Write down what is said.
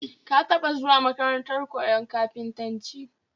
Ka taba zuwa makarantar koyon kafintanci?